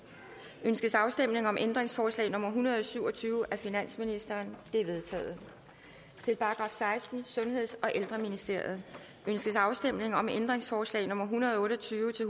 ønskes afstemning om ændringsforslag nummer en hundrede og syv og tyve af finansministeren det er vedtaget til § sekstende sundheds og ældreministeriet ønskes afstemning om ændringsforslag nummer en hundrede og otte og tyve til